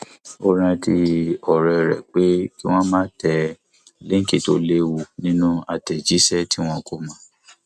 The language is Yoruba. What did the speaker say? ó rántí òré rẹ pé kí wón má tẹ línkì tó lewu nínú àtẹjísẹ tí wọn kò mọ